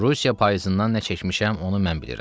Rusiya payızından nə çəkmişəm, onu mən bilirəm.